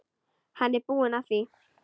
Hann er búinn að því.